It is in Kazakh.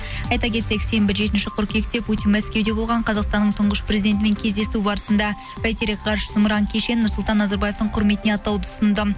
айта кетсек сенбі жетінші қыркүйекте путин мәскеуде болған қазақстанның тұңғыш президентімен кездесу барысында бәйтерек ғарыш зымыран кешенін нұрсұлтан назарбаевтың құрметіне атауды ұсынды